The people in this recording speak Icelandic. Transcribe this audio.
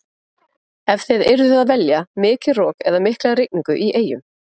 Ef þið yrðuð að velja, mikið rok eða mikla rigningu í eyjum?